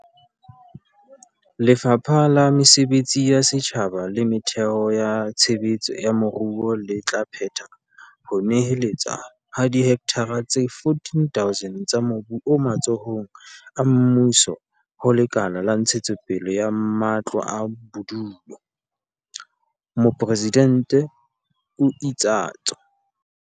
"Lefapha la Mesebetsi ya Setjhaba le Metheo ya Tshe betso ya Moruo le tla phetha ho neheletswa ha dihektara tse 14 000 tsa mobu o matsohong a mmuso ho Lekala la Ntshetsopele ya Matlo a Bodulo," Mopresidente o itsatso.